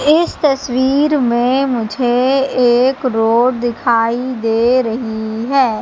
इस तस्वीर में मुझे एक रोड दिखाई दे रही है।